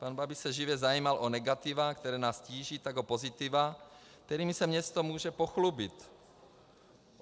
Pan Babiš se živě zajímal o negativa, která nás tíží, tak o pozitiva, kterými se město může pochlubit.